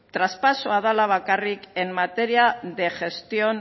traspasoa dela bakarrik en materia de gestión